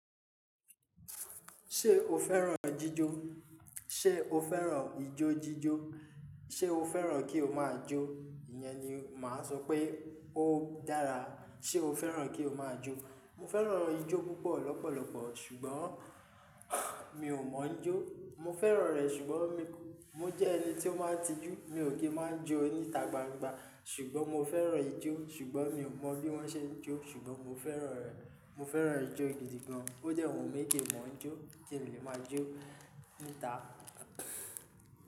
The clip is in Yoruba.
Ṣé o fẹ́ràn jíjó? Ṣé o fẹ́ràn ijó jíjó? Ṣé o fẹ́ràn kí o máa jó? Ìyẹn ni màá sọ pé ó dára. Ṣé o fẹ́ràn kí o máa jó? Mo fẹ́ràn ijó púpọ̀ lọ́pọ̀lọpọ̀ ṣùgbọ́n mi ò mọ̀ jó. Mo fẹ́ràn rẹ̀ ṣùgbọ́n mi, mo jẹ́ ẹni tí ó máa tijú. Mi ò kí ń má jó níta gbangba ṣùgbọ́n mo fẹ́ràn ijó ṣùgbọ́n mi ò mọ bí wọ́n ṣe ń jó ṣùgbọ́n mo fẹ́ràn rẹ̀. Mo fẹ́ràn ijó gidi gan. Ó jẹ́ wunmi kin mò ń jó kín lè má jó níta.